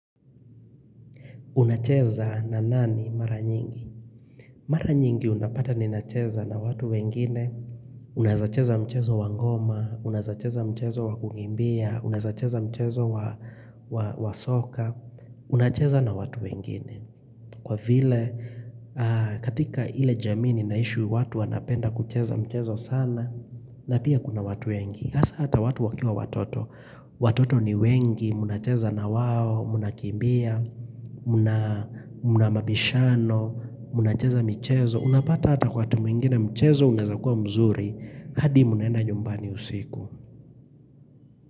Unacheza na nani mara nyingi? Mara nyingi unapata ninacheza na watu wengine. Unaeza cheza mchezo wa ngoma, unaeza cheza mchezo wa kukimbia, unaeza cheza mchezo wa soka. Unacheza na watu wengine. Kwa vile katika ile jamii ninaishi watu wanapenda kucheza mchezo sana na pia kuna watu wengi. Hasa hata watu wakiwa watoto. Watoto ni wengi, mnacheza na wao, mnakimbia. Mna mabishano. Mnacheza michezo. Unapata hata watu wengine mchezo unaeza kuwa mzuri hadi mnaenda nyumbani usiku.